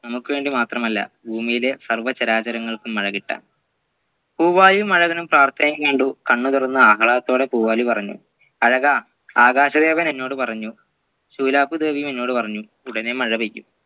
നമ്മുക്ക് വേണ്ടി മാത്രമല്ല ഭൂമിയിലെ സർവ്വചരാചരങ്ങൾക്കും മഴക്കിട്ടാൻ പൂവാലിയും ആഴകനും പ്രാർത്ഥനയിൽ നീണ്ടു കണ്ണുതുറന്നു ആഹ്ളാദത്തോടേ പൂവാലി പറഞ്ഞു അഴകാ ആകാശദേവൻ എന്നോട് പറഞ്ഞു ശൂലപ്പു ദേവിയും എന്നോട് പറഞ്ഞു ഉടനെ മഴപെയ്യും